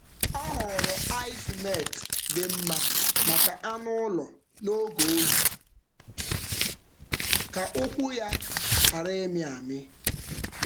Ọ họọrọ ice melt dị mma maka anụ ụlọ n’oge oyi ka ụkwụ ya ghara ịmị amị.